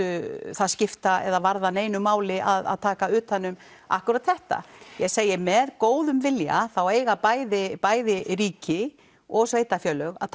það skipta eða varða neinu máli að taka utan um akkúrat þetta ég segi með góðum vilja þá eiga bæði bæði ríki og sveitarfélög að